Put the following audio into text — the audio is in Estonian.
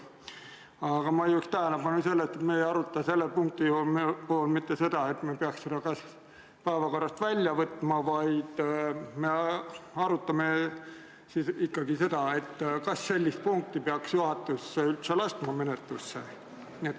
Aga ma juhin tähelepanu sellele, et me ei aruta selle punkti puhul mitte seda, kas me peaks selle päevakorrast välja võtma, vaid me arutame ikkagi seda, kas sellist punkti peaks juhatus üldse menetlusse laskma.